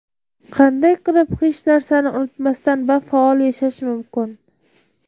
Qanday qilib hech narsani unutmasdan va faol yashash mumkin?.